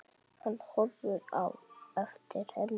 Hann horfir á eftir henni.